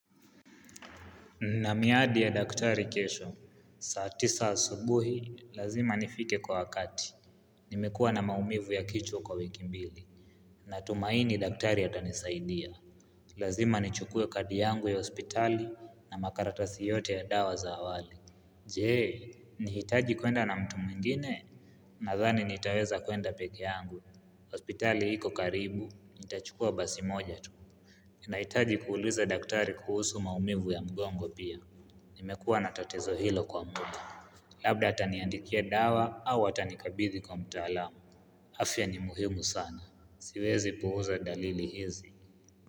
Na miadi ya daktari kesho, saa tisa asubuhi, lazima nifike kwa wakati. Nimekua na maumivu ya kichwa kwa wiki mbili. Natumaini daktari atanisaidia. Lazima nichukue kadi yangu ya hospitali na makaratasi yote ya dawa za awali. Jee, nahitaji kwenda na mtu mwingine, nadhani nitaweza kwenda peki yangu. Hospitali iko karibu, nitachukua basi moja tu. Nahitaji kuuliza daktari kuhusu maumivu ya mgongo pia. Nimekuwa natatizo hilo kwa muda Labda ataniandikia dawa au atanikabithi kwa mtaalamu Afia ni muhimu sana siwezi puuza dalili hizi.